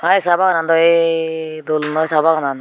ahaa aye saa baganan daw aye dol noi saa baganan.